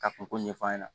Ka kunko ɲɛfɔ a ɲɛna